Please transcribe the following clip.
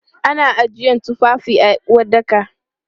Ana ajiyan tufafi a uwaɗɗaka.